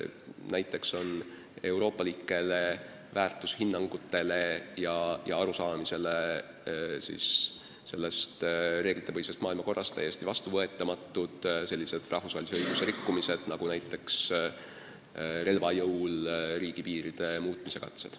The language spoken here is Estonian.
Näiteks on euroopalike väärtushinnangute ja arusaamade kohaselt reeglitepõhise maailmakorra kehtides täiesti vastuvõetamatud sellised rahvusvahelise õiguse rikkumised nagu relva jõul riigipiiride muutmise katsed.